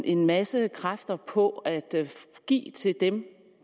en masse kræfter på at give til dem